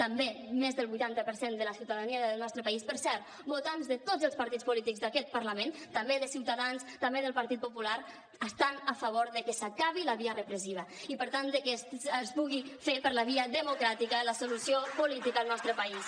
també més del vuitanta per cent de la ciutadania del nostre país per cert votants de tots els partits polítics d’aquest parlament també de ciutadans també del partit popular està a favor de que s’acabi la via repressiva i per tant de que es pugui fer per la via democràtica la solució política al nostre país